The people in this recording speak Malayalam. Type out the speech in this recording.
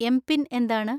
എംപിൻ എന്താണ്?